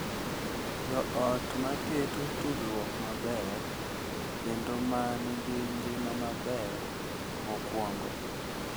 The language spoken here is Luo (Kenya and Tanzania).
Jo ot ma keto tudruok maber kendo ma nigi ngima maber mokuongo